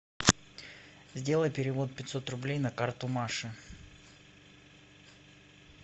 сделай перевод пятьсот рублей на карту маши